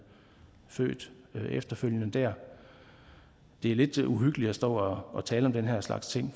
født der efterfølgende det er lidt uhyggeligt at stå og tale om den her slags ting